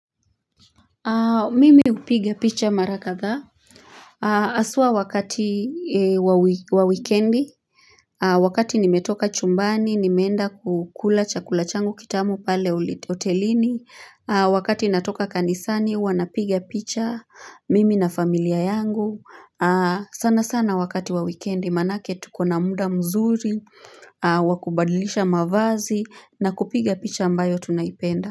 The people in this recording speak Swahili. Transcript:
Mimi upiga picha mara kadhaa haswa wakati wa wikendi. Wakati nimetoka chumbani, nimeenda kukula chakula changu kitamu pale hotelini Wakati natoka kanisani, huwa napiga picha mimi na familia yangu sana sana wakati wa wikendi, maanake tuko na muda mzuri Wakubadilisha mavazi na kupiga picha ambayo tunaipenda.